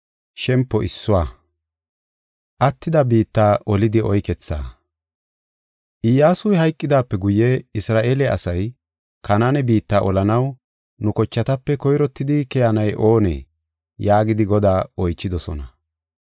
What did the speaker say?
Iyyasuy hayqidaape guye Isra7eele asay, “Kanaane biitta olanaw nu kochatape koyrottidi keyanay oonee?” yaagidi Godaa oychidosona.